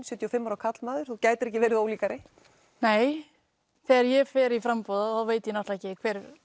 sjötíu og fimm ára karlmaður gætir ekki verið ólíkari þegar ég fer í framboð veit ég ekki